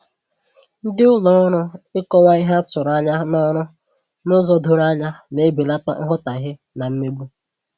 Ndị ụlọ ọrụ ịkọwa ihe a tụrụ anya n'ọrụ n'ụzọ doro anya na-ebelata nghọtahie na mmegbu